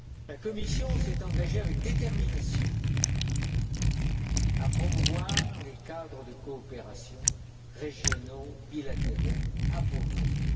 La Commission s'est engagée, avec détermination, à promouvoir les cadres de coopération régionaux bilatéraux appropriés.